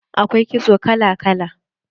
Akwai kitso kala kala.